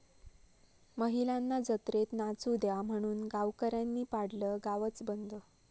महिलांना जत्रेत नाचू द्या' म्हणून गावकऱ्यांनी पाडलं गावच बंद!